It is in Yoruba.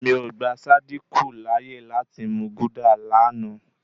Mi ò gba Sádíkù láyè láti mú gúdà lánàá.